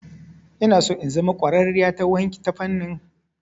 Inaso in zama ƙwararriya ta fannin kwalliya.